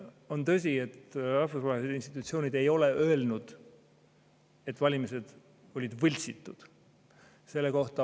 On tõsi, et rahvusvahelised institutsioonid ei ole öelnud, et valimised olid võltsitud.